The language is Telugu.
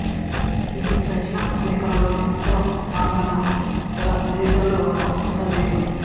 ఇది దక్షిణ అమెరికా లోని ఉత్తర భాగాన గల దేశాలలో ఒక చిన్న దేశం